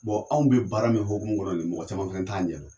anw bɛ baara min hukumu kɔnɔ nin ye mɔgɔ caman fɛnɛ t'a ɲɛ dɔ.